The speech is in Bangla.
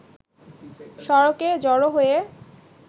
সড়কে জড়ো হয়ে